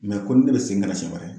Mɛ komi ne bɛe segin ka na sɛn wɛrɛ